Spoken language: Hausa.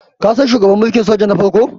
kasan shugaban mulkin soja na farko?